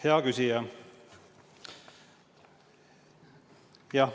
Hea küsija!